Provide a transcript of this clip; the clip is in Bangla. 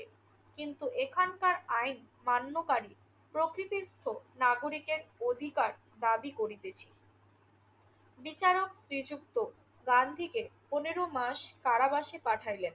কিন্তু এখানকার আইন মান্যকারী প্রকতস্থ নাগরিকের অধিকার দাবী করিতেছি। বিচারক শ্রীযুক্ত গান্ধীকে পনেরো মাস কারাবাসে পাঠাইলেন।